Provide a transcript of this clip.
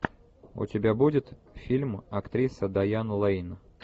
у тебя будет фильм актриса дайан лэйн